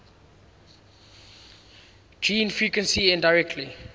gene frequency indirectly